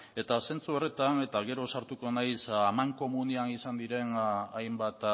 eta zentzu horretan eta gero sartuko naiz amankomunean izan diren hainbat